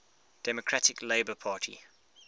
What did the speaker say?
democratic labour party